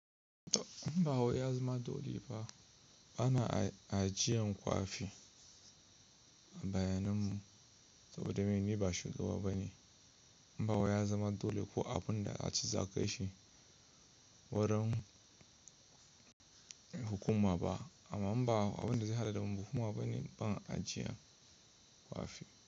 In ba wai ya zama dole ba bana ajiyan kwafi bayanin mu saboda me ni ba shugaba bane. In ba wai ya zama dole ko abun da a ce za ko shi wuren hukuma ba. Amma in ba abun da zai haɗu da hukuma bane, ba ajiya kwafi.